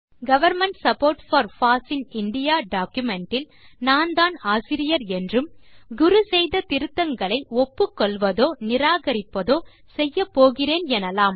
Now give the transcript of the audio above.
government support for foss in indiaடாக்குமென்ட் இல் நான்தான் ஆசிரியர் என்றும் குரு செய்த திருத்தங்களை ஒப்புக்கொள்வதோ நிராகரிப்பதோ செய்யப்போகிறேன் எனலாம்